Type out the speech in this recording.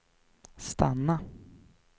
stanna